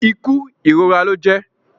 Ikú irora lọ jẹ